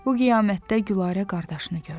Bu qiyamətdə Gülarə qardaşını gördü.